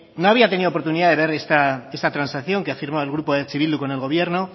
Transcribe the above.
no había tenido la oportunidad de ver esta transacción que ha firmado el grupo eh bildu con el gobierno